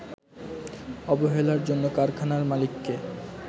অবহেলার জন্য কারখানার মালিককে